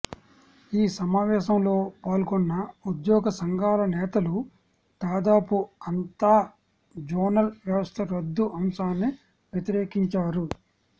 ఈ సమావేశంలో పాల్గొన్న ఉద్యోగ సంఘాల నేతలు దాదాపు అంతా జోనల్ వ్యవస్థ రద్దు అంశాన్ని వ్యతిరేకించారు